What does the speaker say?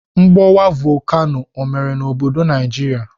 Mgbọwa vokano ọ mere n'obodo Naijiria?